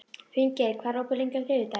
Finngeir, hvað er opið lengi á þriðjudaginn?